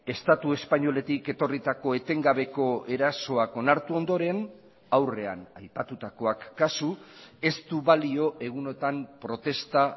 estatu espainoletik etorritako etengabeko erasoak onartu ondoren aurrean aipatutakoak kasu ez du balio egunotan protesta